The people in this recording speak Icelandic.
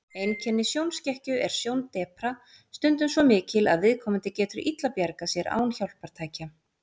Einkenni sjónskekkju er sjóndepra, stundum svo mikil að viðkomandi getur illa bjargað sér án hjálpartækja.